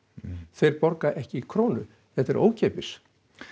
þeir borga ekki krónu þetta er ókeypis